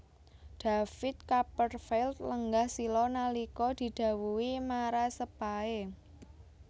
David Copperfield lenggah sila nalika didhawuhi marasepahe